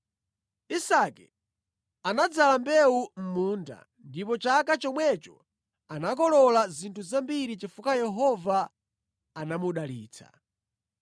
Isake anadzala mbewu mʼmunda, ndipo chaka chomwecho anakolola zinthu zambiri chifukwa Yehova anamudalitsa.